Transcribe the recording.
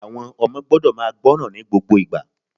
Àwon ọmọ gbọ́dọ̀ máa gbọ́ràn ní gbogbo ìgbà